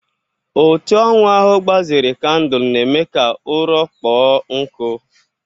Otu anwụ ahụ gbazere kandụlụ na-eme ka ụrọ kpọọ nkụ.